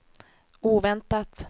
oväntat